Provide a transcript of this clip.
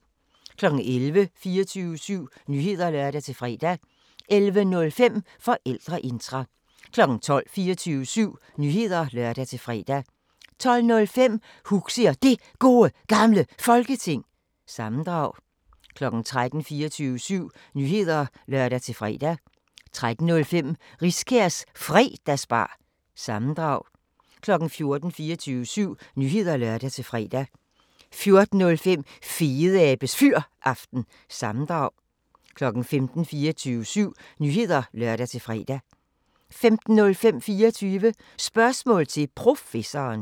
11:00: 24syv Nyheder (lør-fre) 11:05: Forældreintra 12:00: 24syv Nyheder (lør-fre) 12:05: Huxi og Det Gode Gamle Folketing – sammendrag 13:00: 24syv Nyheder (lør-fre) 13:05: Riskærs Fredagsbar- sammendrag 14:00: 24syv Nyheder (lør-fre) 14:05: Fedeabes Fyraften – sammendrag 15:00: 24syv Nyheder (lør-fre) 15:05: 24 Spørgsmål til Professoren